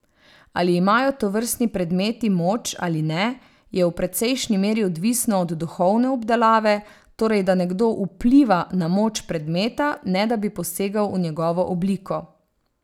Ali imajo tovrstni predmeti moč ali ne, je v precejšnji meri odvisno od duhovne obdelave, torej da nekdo vpliva na moč predmeta, ne da bi posegal v njegovo obliko.